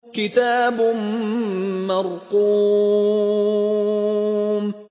كِتَابٌ مَّرْقُومٌ